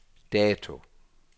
dato